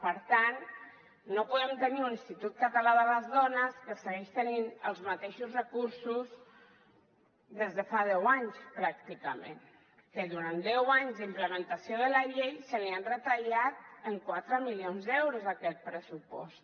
per tant no podem tenir un institut català de les dones que segueixi tenint els mateixos recursos des de fa deu anys pràcticament que durant anys d’implementació de la llei se li ha retallat en quatre milions d’euros aquest pressupost